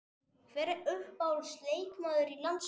Hver er uppáhalds leikmaður í landsliðinu?